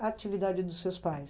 a atividade dos seus pais?